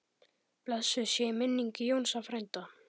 Blessuð sé minning Jónsa frænda.